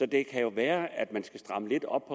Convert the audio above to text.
det jo være at der skal strammes lidt op